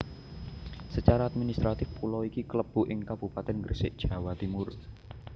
Secara administratif pulo iki klebu ing Kabupatèn Gresik Jawa Timur